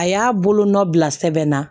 A y'a bolonɔ bila sɛbɛn na